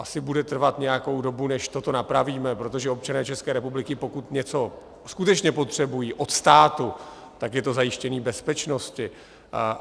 Asi bude trvat nějakou dobu, než toto napravíme, protože občané České republiky, pokud něco skutečně potřebují od státu, tak je to zajištění bezpečnosti.